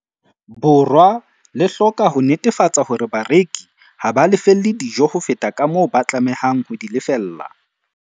Borwa le hloka ho netefatsa hore bareki ha ba lefelle dijo ho feta kamoo ba tlamehang ho di lefella.